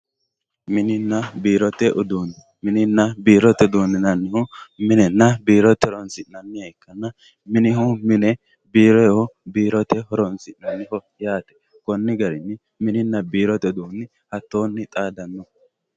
Mininna biirote uduune, mininna biirote uduune yinannihu minenna biirote horonsi'nanniha minihu mine biirohu biirote horonsi'neemmoho yaate koni garini mininna biirote uduuni hattoni xaadano.